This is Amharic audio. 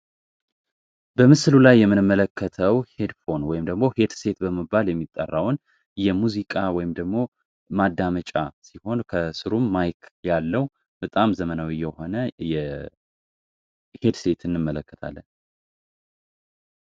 በምስሉ ላይ የምንመለከተው ሄድፎን ወይም ኤርፎን በመባል የሚታወቀውን የሙዚቃ ማዳመጫ ከስሩም ማይክ ያለው በጣም ዘመናዊ የሆነ ሄድሴት እንመለከታለን።